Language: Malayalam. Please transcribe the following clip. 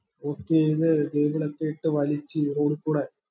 ഒക്കെയെന്ന് ഇത് ഇട്ട് വലിച്ചു road ഇൽ കൂടെ